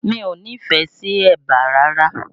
Mi ò nífẹ̀ẹ́ sí ẹ̀bà rárá